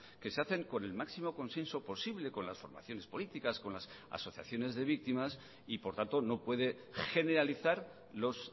que se hacen con el máximo consenso posible con las formaciones políticas con las asociaciones de víctimas y por tanto no puede generalizar los